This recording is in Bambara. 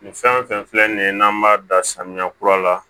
Nin fɛn fɛn filɛ nin ye n'an b'a dan samiya kura la